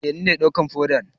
Eh, ni ne na dawka fodan.